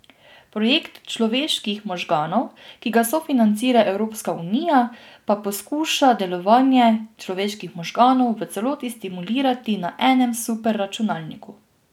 Projekt človeških možganov, ki ga sofinancira Evropska unija, pa poskuša delovanje človeških možganov v celoti simulirati na enem superračunalniku.